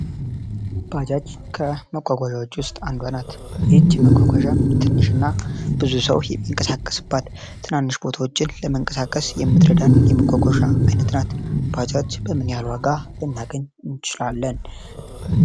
ባጃጅ ከመጓጓዣ ውስጥ አንዷ ናት ይህች መጓጓዣ ትንሽ እና ብዙ ሰው ይንቀሳቀስባታል። ትናንሽ ቦታዎችን ለመንቀሳቀስ የምትረዳን የመጓጓዣ ዓይነት ናት ። ባጃጅ በምን ያህል ዋጋ ልናገኝ እንችላለን?